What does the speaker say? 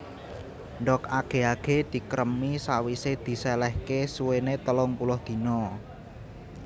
Ndhog age age dikremi sawise diselehke suwene telung puluh dina